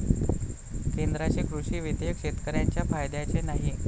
केंद्राचे कृषी विधेयक शेतकऱ्यांचे फायद्याचे नाही.